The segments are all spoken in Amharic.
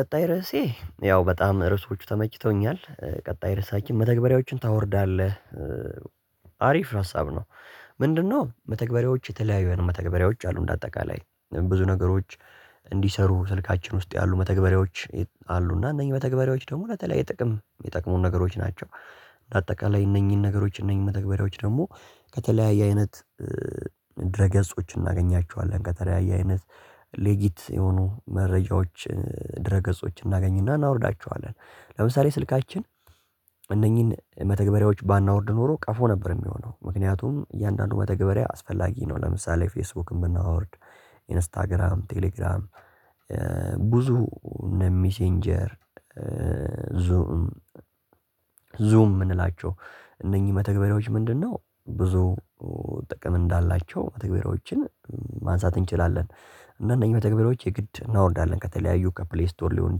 ቀጣይ ርዕሴ ያው በጣም ርዕሶቹ ተመችተውኛል። ቀጣይ ርዕሳችን መተግበሪያዎችን ታወርዳለህ አሪፍ ሀሳብ ነው። ምንድነው? መተግበሪያዎች የተለያዩ አይነት መተግበሪያዎች አሉ እንደ አጠቃላይ ብዙ ነገሮች። እንዲሰሩ ስልካችን ውስጥ ያሉ መተግበሪያዎች አሉ እና እነኚህ መተግበሪያዎች ደግሞ ለተለያየ ጥቅም ሚጠቅሙን ነገሮች ናቸው። እንደ አጠቃላይ እነኚህን ነገሮች እነኚህን መተግበሪያዎች ደግሞ ከተለያየ አይነት ድረ ገጾች እናገኛቸዋለን ከተለያየ አይነት ሌጊት የሆኑ መረጃዎች። ድረ ገጾችን እናገኝና እናወርዳቸዋለን። ለምሳሌ ስልካችን እነኚህን መተግበሪያዎች ባናወርድ ኖሮ ቀፎ ነበር የሚሆነው ምክንያቱም እያንዳንዱ መተግበሪያ አስፈላጊ ነው። ለምሳሌ ፌስቡክን ብናወርድ ኢንስታግራም ቴሌግራም ብዙ እነ ሚሴንጀር ዙም ዙም የምንላቸው። እነኚህ መተግበሪያዎች ምንድነው ብዙ ጥቅም እንዳላቸው መተግበሪያዎችን። ማንሳት እንችላለን እና እነኚህ መተግበሪያዎች የግድ እናወርዳለን ከተለያዩ ከፕሌይ ስቶር ሊሆን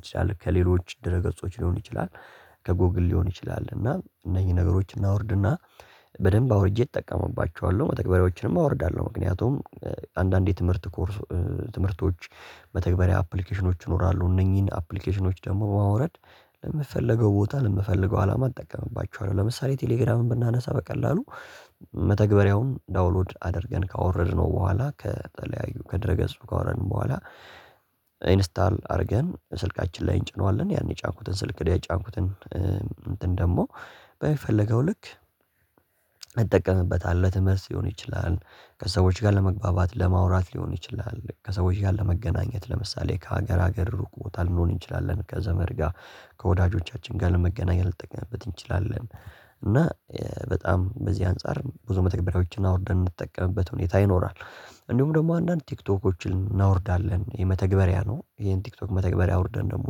ይችላል ከሌሎች ድረ ገጾች ሊሆን ይችላል። ከጎግል ሊሆን ይችላል እና እነኚህን ነገሮች እናውርድና በደንብ አውርጄ እጠቀምባቸዋለሁ መተግበሪያዎችንም አወርዳለሁ ምክንያቱም። አንዳንዴ ትምህርት ኮርስ ትምህርቶች መተግበሪያ አፕሊኬሽኖች ይኖራሉ እነኚህን አፕሊኬሽኖች ደግሞ ማውረድ ለምፈልገው ቦታ ለምፈልገው አላማ እጠቀምባቸዋለሁ። ለምሳሌ ቴሌግራምን ብናነሳ በቀላሉ መተግበሪያውን ዳውንሎድ አድርገን ካወረድነው በኋላ ከተለያዩ ከድረ ገጹ ካወረድን በኋላ ኢንስታል አድርገን ስልካችን ላይ እንጭነዋለን። ያን የጫንኩትን ስልክ የጫንኩትን እንትን ደግሞ በሚፈለገው ልክ እጠቀምበታለሁ ለትምህርት ሊሆን ይችላል። ከሰዎች ጋር ለመግባባት ለማውራት ሊሆን ይችላል ከሰዎች ጋር ለመገናኘት ለምሳሌ ከሀገር ሀገር ሩቅ ቦታ ልንሆን እንችላለን ከዘመድ ጋር ከወዳጆቻችን ጋር ለመገናኛ ልንጠቀምበት እንችላለ። እና በጣም በዚህ አንፃር ብዙ መተግበሪያዎችን አውርደን ምንጠቀምበት ሁኔታ ይኖራል። እንዲሁም ደግሞ አንዳንድ ቲክቶኮችን እናውርዳለን የመተግበሪያ ነው ይሄን ቲክቶክ መተግበሪያ አውርደን ደግሞ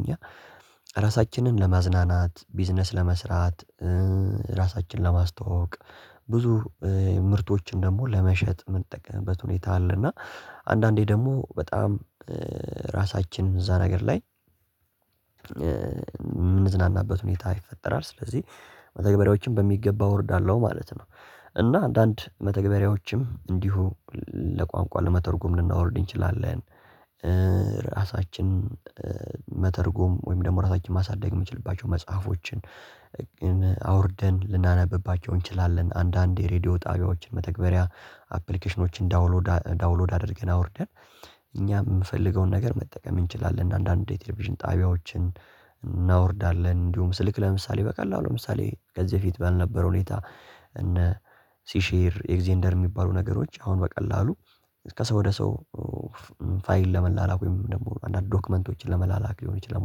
እኛ ራሳችንን ለማዝናናት ቢዝነስ ለመስራት ራሳችንን ለማስተዋወቅ ብዙ ምርቶችን ደግሞ ለመሸጥ የምንጠቀምበት ሁኔታ አለ። እና አንዳንዴ ደግሞ በጣም ራሳችን እዛ ነገር ላይ የምንዝናናበት ሁኔታ ይፈጠራል። ስለዚህ መተግበሪያዎችን በሚገባ አወርዳለሁ ማለት ነው። እና አንዳንድ መተግበሪያዎችም እንዲሁ ለቋንቋ ለመተርጎም ልናወርድ እንችላለን። ራሳችን መተርጎም ወይም ደግሞ ራሳችን ማሳደግ የምንችልባቸው መጽሐፎችን አውርደን ልናነብባቸው እንችላለን። አንዳንዴ ሬድዮ ጣቢያዎችን መተግበሪያ አፕሊኬሽኖችን ዳውንሎድ ዳውንሎድ አድርገን አውርደን እኛ የምፈልገውን ነገር መጠቀም እንችላለን። አንዳንዴ ቴሌቪዥን ጣቢያዎችን እናወርዳለን እንዲሁም ስልክ ለምሳሌ በቀላሉ ለምሳሌ ከዚህ በፊት ባልነበረ ሁኔታ። እነ ሲሼር ኤግዘንደር የሚባሉ ነገሮች አሁን በቀላሉ ከሰው ወደ ሰው ፋይል ለመላላክ ወይም ደግሞ አንዳንድ ዶክመንቶችን ለመላላክ ሊሆን ይችላል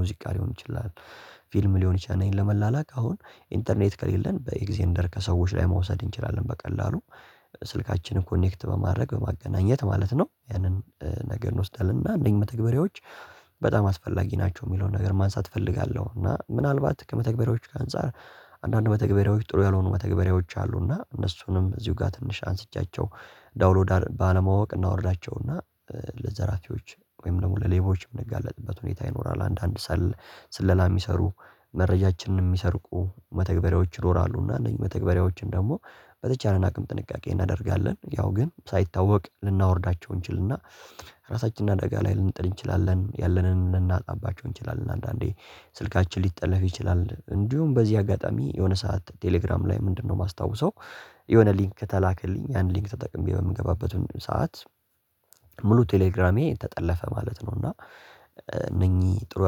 ሙዚቃ ሊሆን ይችላል። ፊልም ሊሆን ይችላል እነኚን ለመላላክ አሁን ኢንተርኔት ከሌለን በኤግዘንደር ከሰዎች ላይ መውሰድ እንችላለን። በቀላሉ ስልካችንን ኮኔክት በማድረግ በማገናኘት ማለት ነው። ያንን ነገር እንወስዳለን እና እነኚህ መተግበሪያዎች በጣም አስፈላጊ ናቸው የሚለውን ነገር ማንሳት እፈልጋለሁ። እና ምናልባት ከመተግበሪያዎቹ ከአንፃር አንዳንድ መተግበሪያዎች ጥሩ ያልሆኑ መተግበሪያዎች አሉ እና እነሱንም እዚሁ ጋር ትንሽ አንስቻቸው። ዳውንሎድ ባለማወቅ እናወርዳቸውና ለዘራፊዎች ወይም ደግሞ ለሌባዎች የምንጋለጥበት ሁኔታ ይኖራል። አንዳንድ ሰል ስለላ የሚሰሩ መረጃችንንም የሚሰርቁ መተግበሪያዎች ይኖራሉና እነዚህ መተግበሪያዎችን ደግሞ በተቻለን አቅም ጥንቃቄ እናደርጋለን ያው ግን ሳይታወቅ ልናወርዳቸው እንችልና። ራሳችንን አደጋ ላይ ልንጥል እንችላለን ያለንን ልናጣባቸው እንችላለን። አንዳንዴ ስልካችን ሊጠለፍ ይችላል። እንዲሁም በዚህ አጋጣሚ የሆነ ሰዓት ቴሌግራም ላይ ምንድነው? የማስታውሰው የሆነ ሊንክ ተላከልኝ ያን ሊንክ ተጠቅሜ በምገባበት ሰዓት ሙሉ ቴሌግራሜ ተጠለፈ ማለት ነው። እና እነኚህ ጥሩ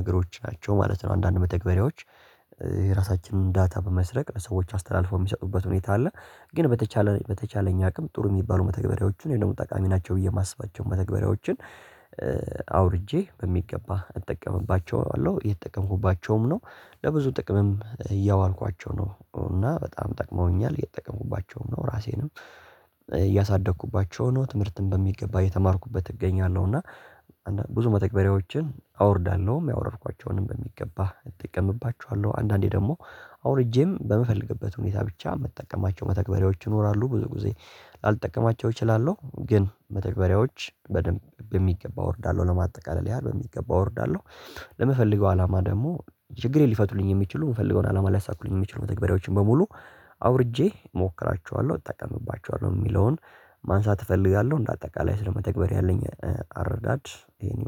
ነገሮች ናቸው ማለት ነው። አንዳንድ መተግበሪያዎች የራሳችንን ዳታ በመስረቅ ለሰዎች አስተላልፈው የሚሰጡበት ሁኔታ አለ። ግን በተቻለ በተቻለኝ አቅም ጥሩ የሚባሉ መተግበሪያዎችን ደግሞ ጠቃሚ ናቸው ብዬ የማስባቸውን መተግበሪያዎችን አውርጄ በሚገባ እጠቀምባቸዋለሁ እየተጠቀምኩባቸውም ነው። ለብዙ ጥቅምም እያዋልኳቸው ነው እና በጣም ጠቅመውኛል እየተጠቀምኩባቸውም ነው። ራሴንም እያሳደግኩባቸው ነው ትምህርትን በሚገባ እየተማርኩበት እገኛለሁ። እና ብዙ መተግበሪያዎችን አወርዳለሁ ያወረድኳቸውንም በሚገባ እጠቀምባቸዋለሁ። አንዳንዴ ደግሞ አውርጄም በምፈልግበት ሁኔታ ብቻ ምጠቀማቸው መተግበርያዎች ይኖራሉ። ብዙ ጊዜ ላልጠቀማቸው እችላለሁ ግን መተግበሪያዎች በደንብ በሚገባ እወርዳለሁ ለማጠቃለል ያህል በሚገባ አወርዳለሁ። ለምፈለገው አላማ ደግሞ ችግሬን ሊፈቱልኝ የሚችሉ የምፈልገውን አላማ ሊያሳኩልኝ የሚችሉ መተግባሪያዎችን በሙሉ አውርጄ እሞክራቸዋለሁ። እጠቀምባቸዋለሁ የሚለውን ማንሳት እፈልጋለሁ እንደ አጠቃላይ ስለመተግበሪያ ያለኝ አረዳድ ይሄን